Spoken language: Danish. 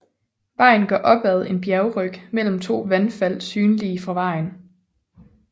Vejen går opad en bjergryg mellem to vandfald synlige fra vejen